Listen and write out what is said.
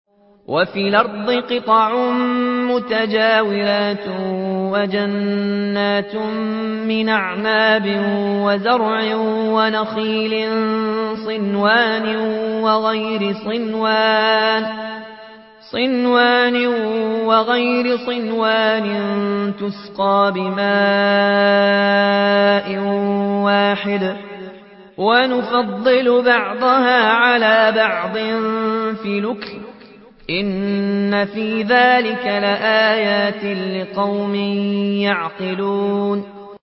وَفِي الْأَرْضِ قِطَعٌ مُّتَجَاوِرَاتٌ وَجَنَّاتٌ مِّنْ أَعْنَابٍ وَزَرْعٌ وَنَخِيلٌ صِنْوَانٌ وَغَيْرُ صِنْوَانٍ يُسْقَىٰ بِمَاءٍ وَاحِدٍ وَنُفَضِّلُ بَعْضَهَا عَلَىٰ بَعْضٍ فِي الْأُكُلِ ۚ إِنَّ فِي ذَٰلِكَ لَآيَاتٍ لِّقَوْمٍ يَعْقِلُونَ